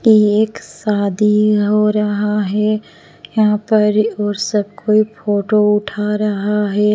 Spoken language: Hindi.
ये एक शादी हो रहा है यहाँ पर और सब कोई फोटो उठा रहा है।